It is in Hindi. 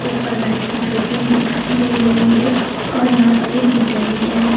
ऊपर लाइट की फिटिंग दिखाई दे रही है और यहां पर एक मीटर भी है।